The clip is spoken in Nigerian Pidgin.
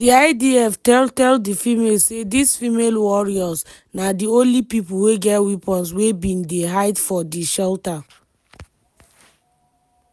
di idf tell tell di familes say dis "female warriors" na di only pipo wey get weapons wey bin dey hide for di shelter.